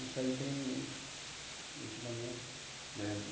Isso aí tem... ultimamente.